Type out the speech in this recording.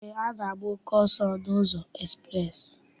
Eé, a na-agba oke ọsọ n'ụzọ ekspreesị.